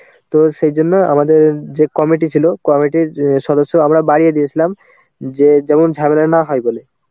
তো সেই জন্য আমাদের যে committee ছিল committee র যে সদস্য আমরা বাড়িয়ে দিয়েছিলাম. যে যেমন ঝামেলা না হয় বলে.